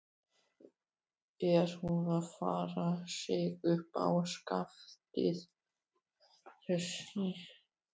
Er hún að færa sig upp á skaftið, þessi?